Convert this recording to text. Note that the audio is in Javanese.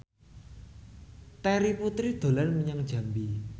Terry Putri dolan menyang Jambi